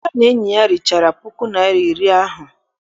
Emeka na enyi ya richara puku naịra na iri ahụ.